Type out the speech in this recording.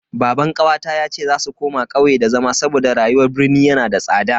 Baban kawata yace za su koma kauye da zama saboda rayuwar birni yana da tsada.